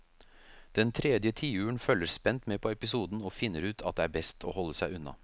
Den tredje tiuren følger spent med på episoden og finner ut at det er best å holde seg unna.